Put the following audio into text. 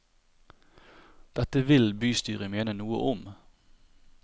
Dette vil bystyret mene noe om.